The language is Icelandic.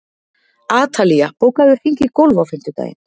Atalía, bókaðu hring í golf á fimmtudaginn.